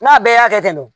N'a bɛɛ y'a kɛ nɔn